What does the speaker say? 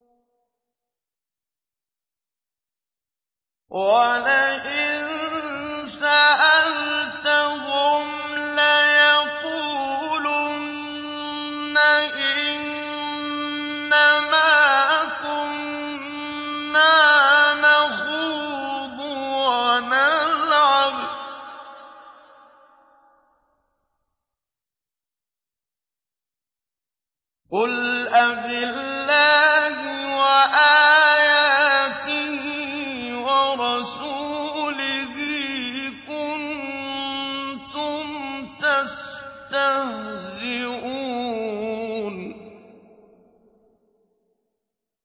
وَلَئِن سَأَلْتَهُمْ لَيَقُولُنَّ إِنَّمَا كُنَّا نَخُوضُ وَنَلْعَبُ ۚ قُلْ أَبِاللَّهِ وَآيَاتِهِ وَرَسُولِهِ كُنتُمْ تَسْتَهْزِئُونَ